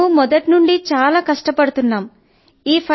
sir మేము మొదటి నుండి చాలా కష్టపడుతున్నాము